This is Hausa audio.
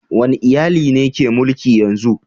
Wane iyali ne ke mulki yanzu?